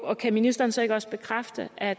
og kan ministeren så ikke også bekræfte at